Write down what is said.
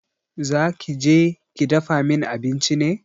Za ki je ki dafa min abinci ne?